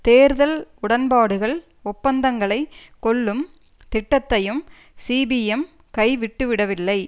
தேர்தல் உடன்பாடுகள் ஒப்பந்தங்களை கொள்ளும் திட்டத்தையும் சிபிஎம் கைவிட்டுவிடவில்லை